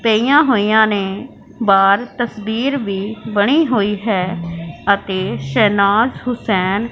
तेया होया ने बाहर तस्वीर भी बनी हुई है आतेश शहनाज हुसैन--